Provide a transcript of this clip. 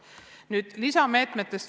Nüüd veel lisameetmetest.